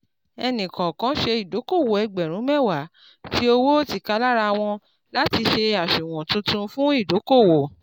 ẹni kọ̀ọ̀kan ṣe ìdókòwò ẹgbẹ̀rún mẹ́wàá tí owó tíkalárawon láti sì àṣùwọ̀n tuntun fún ìdókòwò